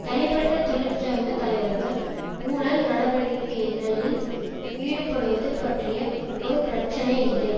தனிப்பட்ட தொழிற்சங்க தலைவர்கள் ஊழல் நடவடிக்கைகளில் ஈடுபடுவது பற்றிய ஒரு பிரச்சனை இல்லை